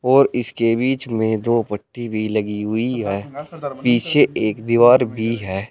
और इसके बीच में दो पट्टी भी लगी हुई है पीछे एक दीवार भी है।